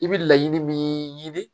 I bɛ laɲini min ɲini